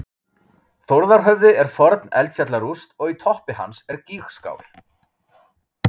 Þórðarhöfði er forn eldfjallarúst og í toppi hans er gígskál.